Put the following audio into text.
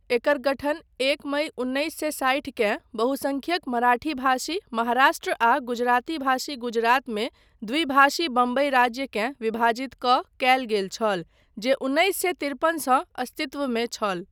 एकर गठन एक मइ उन्नैस सए साठि केँ बहुसंख्यक मराठीभाषी महाराष्ट्र आ गुजरातीभाषी गुजरात मे द्विभाषी बम्बइ राज्यकेँ विभाजित कऽ कयल गेल छल, जे उन्नैस सए तिरपनसँ अस्तित्वमे छल।